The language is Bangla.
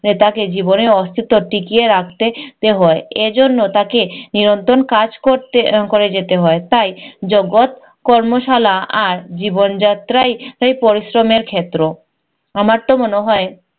তাকে জীবনের অস্তিস্ত্ব টিকিয়ে রাখতে তে হয়। এজন্য তাকে নিরন্তর কাজ করতে করে যেতে হয়। তাই জগত কর্মাশালা আর জীবনযাত্রাই আই পরিশ্রমের ক্ষেত্র। আমার তো মনে হয়